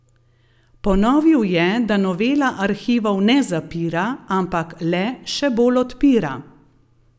Ponovil je, da novela arhivov ne zapira, ampak le še bolj odpira.